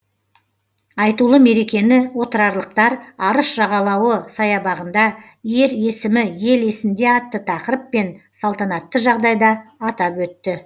айтулы мерекені отырарлықтар арыс жағалауы саябағында ер есімі ел есінде атты тақырыппен салтанатты жағдайда атап өтті